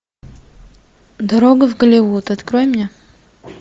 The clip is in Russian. дорога в голливуд открой мне